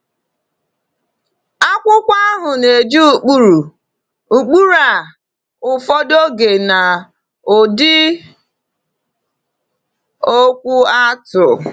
Akwụkwọ ahụ na-eji ụkpụrụ ụkpụrụ a ụfọdụ oge n’ụdị okwu atụ.